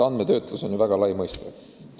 Andmetöötlus on väga laia mõiste.